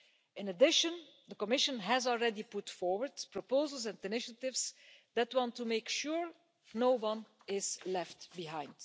In addition, the Commission has already put forward proposals and initiatives that want to make sure no one is left behind.